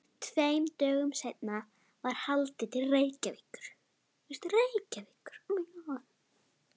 Tveim dögum seinna var haldið til Reykjavíkur.